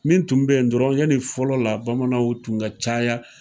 Min tun be yen dɔrɔn yani fɔlɔ la bamananw tun ka caya.